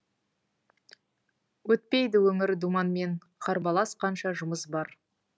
өтпейді өмір думанмен қарбалас қанша жұмыс бар